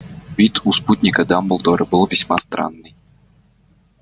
вид у спутника дамблдора был весьма странный